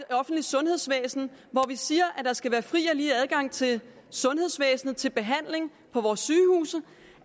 offentlige sundhedsvæsen vi siger at der skal være fri og lige adgang til sundhedsvæsenet til behandling på vores sygehuse